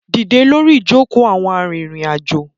Dídẹ lórí ìjoko àwọn arìnrìn-àjò